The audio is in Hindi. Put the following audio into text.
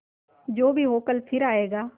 जो भी हो कल फिर आएगा